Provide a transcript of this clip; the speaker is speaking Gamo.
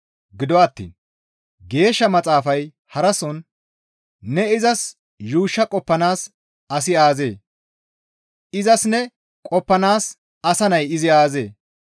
Gido attiin Geeshsha Maxaafay harason, «Ne izas yuushsha qoppanaas asi aazee? Izas ne qoppanaas asa nay izi aazee?